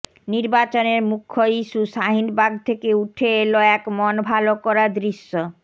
নির্বাচনের মুখ্য ইস্যু শাহিনবাগ থেকে উঠে এল এক মন ভালো করা দৃশ্য